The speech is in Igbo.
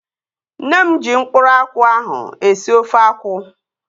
Nne m ji mkpụrụ akwụ ahụ esi ofe akwụ